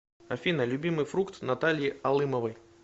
афина любимый фрукт натальи алымовой